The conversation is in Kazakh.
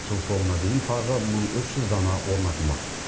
жыл соңына дейін тағы мың үш жүз дана орнатылмақ